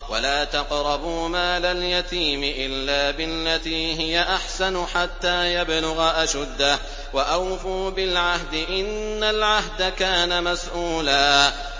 وَلَا تَقْرَبُوا مَالَ الْيَتِيمِ إِلَّا بِالَّتِي هِيَ أَحْسَنُ حَتَّىٰ يَبْلُغَ أَشُدَّهُ ۚ وَأَوْفُوا بِالْعَهْدِ ۖ إِنَّ الْعَهْدَ كَانَ مَسْئُولًا